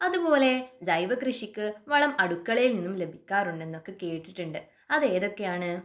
അതുപോലെ ജൈവകൃഷിക്ക് വളം അടുക്കളയിൽ നിന്ന് ലഭിക്കാറുണ്ടെന്നൊക്കെ കേട്ടിട്ടുണ്ട് അത് ഏതൊക്കെയാണ്?